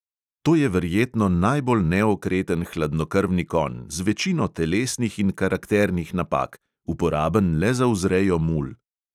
To je verjetno najbolj neokreten hladnokrvni konj, z večino telesnih in karakternih napak, uporaben le za vzrejo mul.